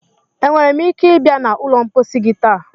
Enwere m ike ịbịa na ụlọ mposi gị taa?